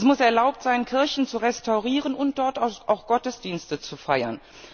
Es muss erlaubt sein, Kirchen zu restaurieren und dort auch Gottesdienste zu feiern.